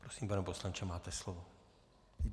Prosím, pane poslanče, máte slovo.